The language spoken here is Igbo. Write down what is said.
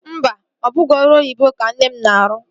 Mba, ọ bụghị ọrụ oyibo ka nne m na-arụ